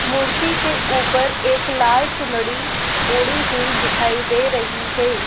मूर्ति के ऊपर एक लाल चुनरी उड़ी हुई दिखाई दे रही है।